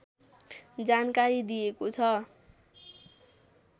जानकारी दिएको छ